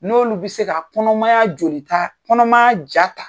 N'olu bɛ se ka kɔnɔmaya jolita kɔnɔmaya ja ta.